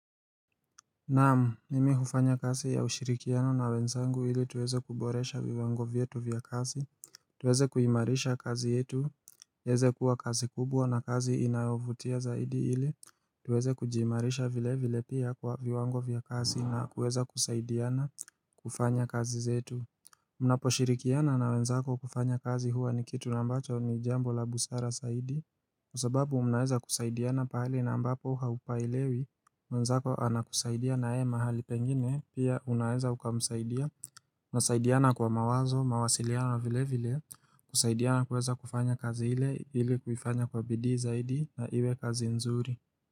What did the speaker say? Naam, mimi hufanya kasi ya ushirikiano na wenzangu ili tuweze kuboresha viwango vietu vya kasi, tuweze kuimarisha kazi yetu, heze kuwa kazi kubwa na kazi inayovutia zaidi ili, tuweze kujiimarisha vile vile pia kwa viwango vya kasi na kuweza kusaidiana kufanya kazi zetu Munapo shirikiana na wenzako kufanya kazi huwa ni kitu nambacho ni jambo la busara saidi Kwasababu munaeza kusaidiana pahali na ambapo haupailewi wenzako anakusaidia na ye mahali pengine pia unaeza ukamusaidia na saidiana kwa mawazo, mawasiliano na vile vile kusaidiana kuweza kufanya kazi hile, hile kufanya kwa bidi zaidi na iwe kazi nzuri.